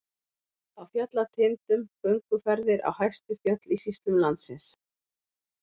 Á fjallatindum- gönguferðir á hæstu fjöll í sýslum landsins.